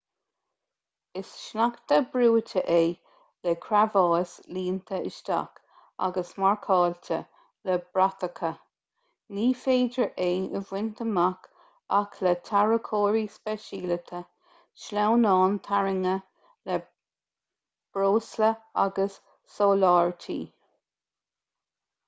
is sneachta brúite é le creabháis líonta isteach agus marcáilte le bratacha ní féidir é a bhaint amach ach le tarracóirí speisialaithe sleamhnáin tarraingthe le breosla agus soláthairtí